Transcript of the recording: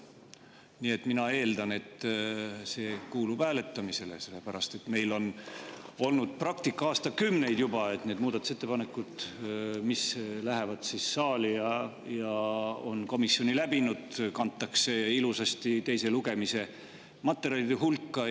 Nii et mina eeldan, et see kuulub hääletamisele, sellepärast et meil on olnud praktika aastakümneid juba, et need muudatusettepanekud, mis lähevad saali ja on komisjoni läbinud, kantakse ilusasti teise lugemise materjalide hulka.